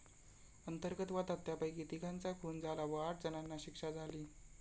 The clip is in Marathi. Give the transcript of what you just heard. अंतर्गत वादात त्यापैकी तिघांचा खून झाला व आठ जणांना शिक्षा झाली.